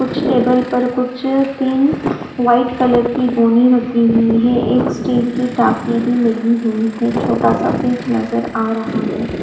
कुछ टेबल पर कुछ तीन वाइट कलर की गोनी रखी हुई है एक स्टील की टाकी भी लगी हुई है छोटा सा पीच नजर आ रहा है।